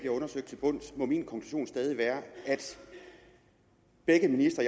undersøgt til bunds må min konklusion stadig være at begge ministre